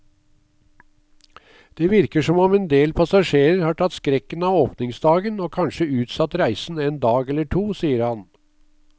Det virker som om en del passasjerer har tatt skrekken av åpningsdagen og kanskje utsatt reisen en dag eller to, sier han.